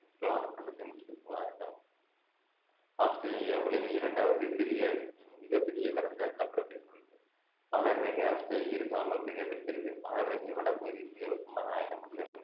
Swan இக்கண்டத்தின் முக்கிய ஆறுகளாகும் ஆஸ்திரேலியா உலகின் இரண்டாவது பெரிய மிகப்பெரிய வறண்ட நிலப்பரப்பை கொண்டு~ மகரரேகை ஆஸ்திரேலியா இரு சமமாக பிரிக்கிறது மகரரேகை வடபகுதி மிக வெப்பமான அயன மண்டலம்